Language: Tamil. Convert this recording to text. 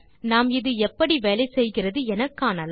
நாம் இது எப்படி வேலை செய்கிறது என காணலாம்